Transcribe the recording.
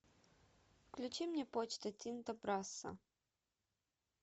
включи мне почта тинто брасса